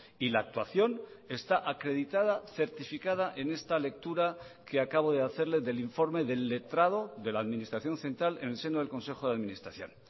y la actuación está acreditada certificada en esta lectura que acabo de hacerle del informe del letrado de la administración central en el seno del consejo de administración